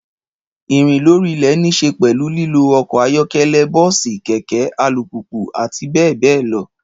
Ìrín lórí ilè ní se pèlú lílo okò ayókélé, bóòsì, kèké, alupùpù, àti béè béè lo